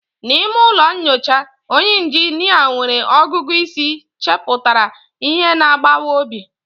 N'ime ụlọ nyocha, onye injinia nwere ọgụgụ isi chepụtara ihe na-agbawa obi.